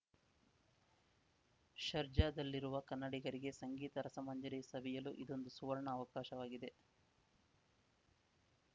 ಶರ್ಜಾದಲ್ಲಿರುವ ಕನ್ನಡಿಗರಿಗೆ ಸಂಗೀತ ರಸ ಮಂಜರಿ ಸವಿಯಲು ಇದೊಂದು ಸುವರ್ಣ ಅವಕಾಶವಾಗಿದೆ